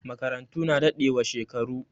Makarantu na dadewa shekaru